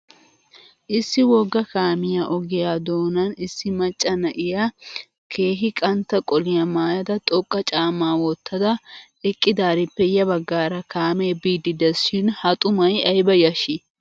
Issi wogga kaamiya ogiya doonan issi maacca na'iya keehi qantta qoliya maayada xoqqa caammaa wottada eqqidaarippe ya bagaara kaamee biiddi des shin ha xumay ayiba yashshi!